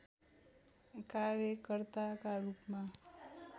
कार्यकर्ताका रूपमा